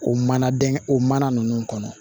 O mana dɛn o mana ninnu kɔnɔ